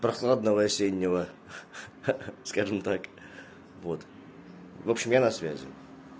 прохладного осеннего ха-ха скажем так вот в общем я на связи